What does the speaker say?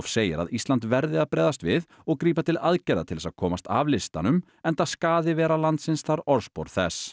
segir að Ísland verði að bregðast við og grípa til aðgerða til þess að komast af listanum enda skaði vera landsins þar orðspor þess